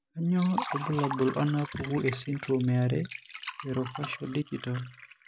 Kainyio irbulabul onaapuku esindirom are eOrofaciodigital?